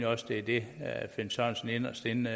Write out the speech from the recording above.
også er det herre finn sørensen inderst inde